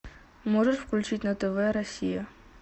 можешь включить на тв россия